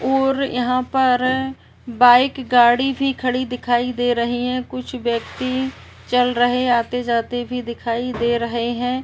और यहाँ पर बाइक गाड़ी भी खड़ी दिखाई दे रही है। कुछ व्यक्ति चल रहे आते जाते भी दिखाई दे रहे हैं।